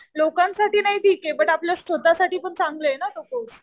लोकांसाठी नाही ठीक आहे. पण आपल्या स्वतःसाठी पण चांगला आहे ना तो कोर्स.